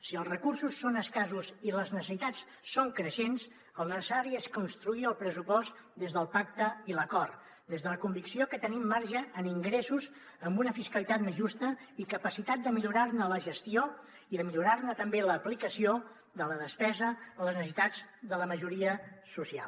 si els recursos són escassos i les necessitats són creixents el necessari és construir el pressupost des del pacte i l’acord des de la convicció que tenim marge en ingressos amb una fiscalitat més justa i capacitat de millorar ne la gestió i de millorar ne també l’aplicació de la despesa a les necessitats de la majoria social